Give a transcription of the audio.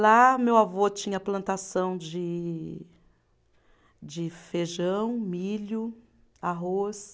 Lá, meu avô tinha plantação de de feijão, milho, arroz.